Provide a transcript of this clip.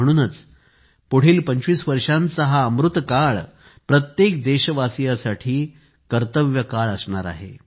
म्हणूनच आपल्यापुढील 25 वर्षांचा हा अमृतकाळ प्रत्येक देशबांधवांसाठी कर्तव्यकाळ असणार आहे